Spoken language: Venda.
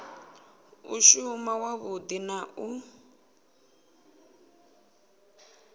u shuma wavhudi na u